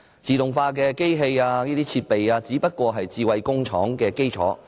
自動化機器等設備只是"智慧工廠"的基礎。